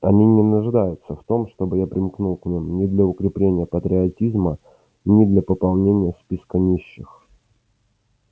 они не нуждаются в том чтобы я примкнул к ним ни для укрепления патриотизма ни для пополнения списка нищих